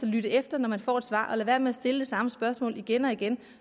lytte efter når man får et svar og lade være med at stille det samme spørgsmål igen og igen